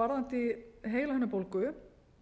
varðandi heilahimnubólgu